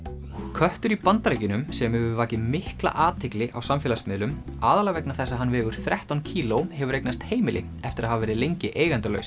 köttur í Bandaríkjunum sem hefur vakið mikla athygli á samfélagsmiðlum aðallega vegna þess að hann vegur þrettán kíló hefur eignast heimili eftir að hafa verið lengi